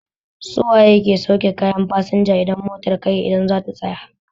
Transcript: Su waye ke sauke kayan fasinja idan motar kai idan za ta tsaya?